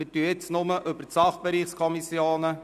Wir diskutieren jetzt nur über die Sachbereichskommissionen.